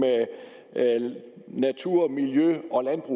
natur miljø